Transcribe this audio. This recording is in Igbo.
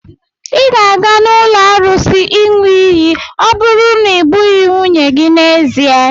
Ị ga-aga n'ụlọ arụsị ịṅụ iyi ọ bụrụ na i gbughị nwunye gị n'ezie.